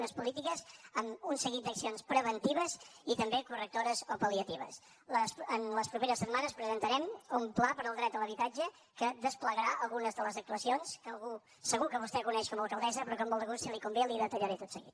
unes polítiques amb un seguit d’accions preventives i també correctores o palen les properes setmanes presentarem un pla per al dret a l’habitatge que desplegarà algunes de les actuacions que segur que vostè coneix com a alcaldessa però que amb molt de gust si li convé li detallaré tot seguit